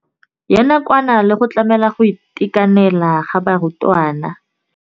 Ya nakwana le go tlamela go itekanela ga barutwana.